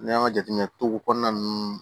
N'i y'an ka jateminɛ togo kɔnɔna ninnu